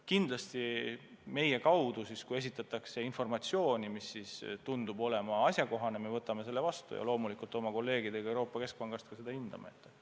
Kui aga meile esitatakse kriitilist informatsiooni, mis tundub olevat asjakohane, siis me võtame selle vastu ja loomulikult oma kolleegidega Euroopa Keskpangast seda ka hindame.